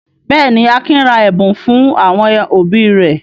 Bẹ́ẹ̀ ni, Akin ra ẹ̀bùn fún àwọn òbí rẹ̀.